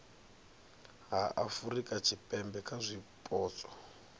ha afurika tshipembe kha zwipotso